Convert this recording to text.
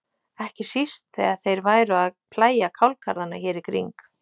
Ekki síst þegar þeir væru að plægja kálgarðana hér í kring.